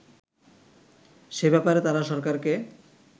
সে ব্যাপারে তারা সরকারকে